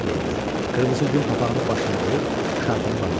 Qırmızı yun papağını başına qoyub şarfını bağladı.